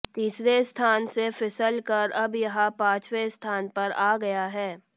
तीसरे स्थान से फिसल कर अब यह पांचवे स्थान पर आ गया है